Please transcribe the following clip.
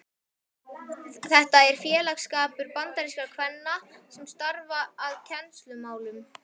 Þetta er félagsskapur bandarískra kvenna sem starfa að kennslumálum.